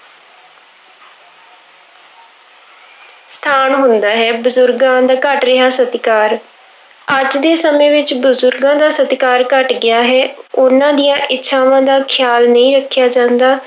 ਸਥਾਨ ਹੁੰਦਾ ਹੈ, ਬਜ਼ੁਰਗਾਂ ਦਾ ਘੱਟ ਰਿਹਾ ਸਤਿਕਾਰ, ਅੱਜ ਦੇ ਸਮੇਂ ਵਿੱਚ ਬਜ਼ੁਰਗਾਂ ਦਾ ਸਤਿਕਾਰ ਘੱਟ ਗਿਆ ਹੈ, ਉਹਨਾਂ ਦੀਆਂ ਇੱਛਾਵਾਂ ਦਾ ਖ਼ਿਆਲ ਨਹੀਂ ਰੱਖਿਆ ਜਾਂਦਾ।